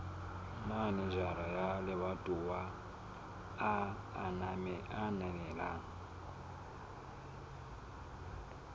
manejara wa lebatowa a ananela